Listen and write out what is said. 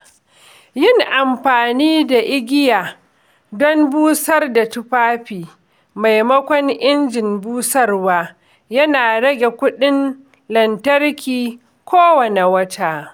Yin amfani da igiya don busar da tufafi maimakon injin busarwa yana rage kudin lantarki kowane wata.